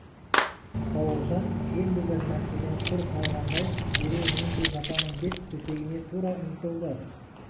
бауыржан енді бір нәрседен құр қалғандай дереу мен де жатамын деп төсегіме тұра ұмтылды